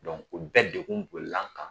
o bɛɛ degun bolila n kan